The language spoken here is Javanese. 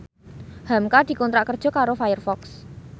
hamka dikontrak kerja karo Firefox